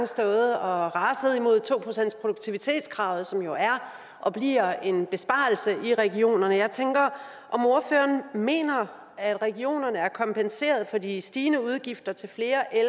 stået og raset imod to procentsproduktivitetskravet som jo er og bliver en besparelse i regionerne jeg tænker om ordføreren mener at regionerne er kompenseret for de stigende udgifter til flere